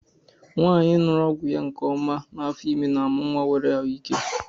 Nwanyi ñụrụ ọgwụ ya nke ọma n'afọ ime n'amụ nwa nwere ahụ ike.